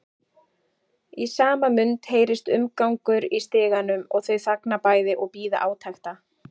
Í sama mund heyrist umgangur í stiganum og þau þagna bæði og bíða átekta.